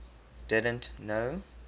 didn t know